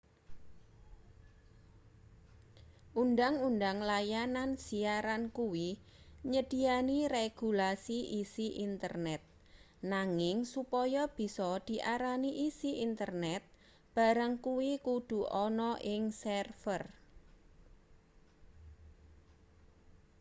undhang-undhang layanan siaran kuwi nyedhiyani regulasi isi internet nanging supaya bisa diarani isi internet barang kuwi kudu ana ing server